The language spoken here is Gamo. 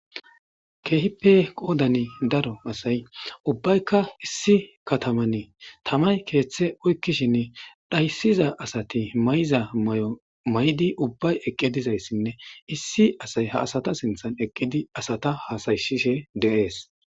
Kehippe qodanni daro asayi ubbayikka issi katamanni tamayi keththe oyikishshinn tamayi keththe oyikishin dhayisizza asati mayizza mayoayod ubayi eqqi dizayissa nne issi asayi haa asata sinththanni eqqidi asata hasayisishshe de'ees.